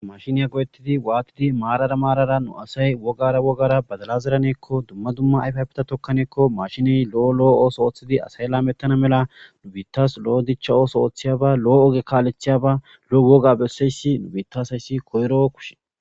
Mashiniya godettidi waatidi maarara maarara nu asay wogara wogara badalazeraneekko dumma dumma ayfafita tokkaneekko mashiniy lo7o lo7o ooso ooththidi asay laamettana mela dubiittas lo7o dicha ooso ooththiyaba lo7o oge kaalethiyaba lo7woga besseyssi nubitaasayssi koyro kushe.